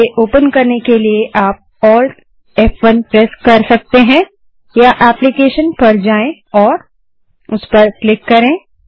इसे ओपन करने के लिए आप ALT फ़1 प्रेस कर सकते हैं या एप्लीकेशन पर जाएँ और उस पर क्लिक करें